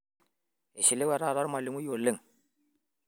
ishiliwe taata ormalimui oleng